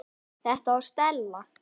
Þetta var Stella.